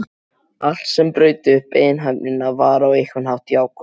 Allt sem braut upp einhæfnina var á einhvern hátt jákvætt.